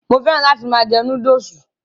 Mo féràn láti máa jẹ Núdúùsù